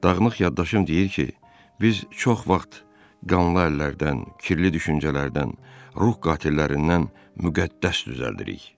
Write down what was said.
Dağınıq yaddaşım deyir ki, biz çox vaxt qanlı əllərdən, kirli düşüncələrdən, ruh qatillərindən müqəddəs düzəldirik.